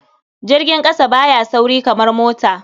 Jirgin ƙasa ba ya sauri kamar mota.